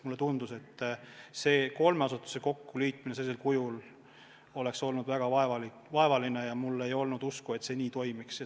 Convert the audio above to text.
Mulle tundus, et kolme asutuse kokkuliitmine oleks olnud väga vaevaline, ja mul ei olnud usku, et see toimiks.